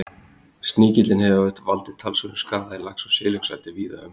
sníkillinn hefur valdið talsverðum skaða í lax og silungseldi víða um heim